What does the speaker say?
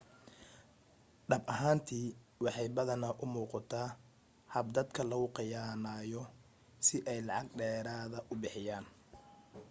dhab ahaantii waxay badanaa u muuqataa hab dadka lagu khiyaamayo si ay lacag dheeraada u bixiyaan